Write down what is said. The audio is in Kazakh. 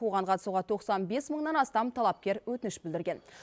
оған қатысуға тоқсан бес мыңнан астам талапкер өтініш білдірген